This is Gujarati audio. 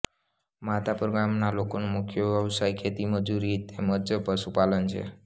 માધાપર ગામના લોકોનો મુખ્ય વ્યવસાય ખેતી ખેતમજૂરી તેમ જ પશુપાલન છે